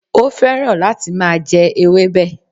Ó féràn láti máa je ewébè